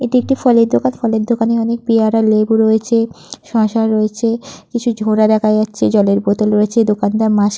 এটি একটি ফলের দোকান ফলের দোকানে অনেক পেয়ারা লেবু রয়েছে শসা রয়েছে কিছু ঝোড়া দেখা যাচ্ছে জলের বোতল রয়েছে। দোকানদার মাস্ক --